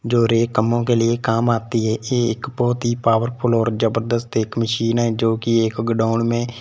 जो हरेक कामों के लिए काम आती है ये एक बहुत ही पावरफुल और जबरदस्त एक मशीन है जो कि एक गोडाउन में--